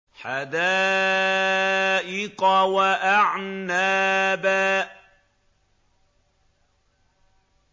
حَدَائِقَ وَأَعْنَابًا